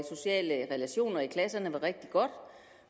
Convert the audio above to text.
sociale relationer i klasserne var rigtig godt